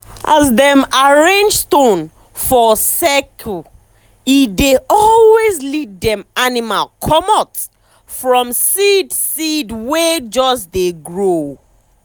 as dem arrange stone for circlee dey always lead dem animal comot from seed seed wey just dey grow.